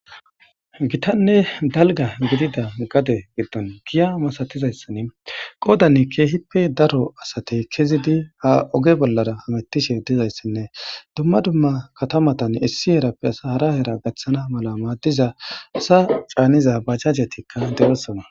gitanne dalga gidida gade giddon giya masatizayssan qoodanne keehippe daro asatey kezidi ha oge bollara hamettishe dizayssinne dumma dumma katamatan issi herappe sahara hera gaththana mala maaddiza asa caaniza bajajetikka de7esana